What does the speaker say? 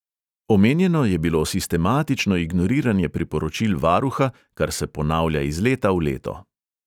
Omenjeno je bilo sistematično ignoriranje priporočil varuha, kar se ponavlja iz leta v leto.